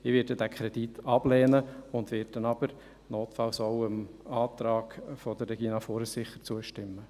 Ich werde den Kredit ablehnen, werde aber sicher notfalls dem Antrag von Regina Fuhrer zustimmen.